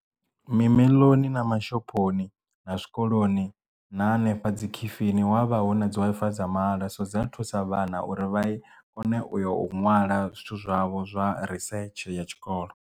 Mimoḽoni na mashophoni na zwikoloni na hanefha dzi khifini wavha hu na dzi Wi-Fi dza mahala so dza thusa vhana uri vha kone u ya u ṅwala zwithu zwavho zwa risetshe ya tshikolo.